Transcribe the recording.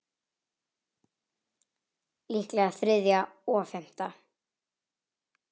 Líklega þriðja og fimmta